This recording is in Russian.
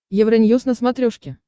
евроньюз на смотрешке